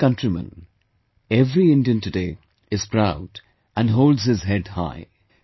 My dear countrymen, every Indian today, is proud and holds his head high